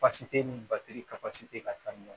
Basi te ni batiri ka basi te ka taa ni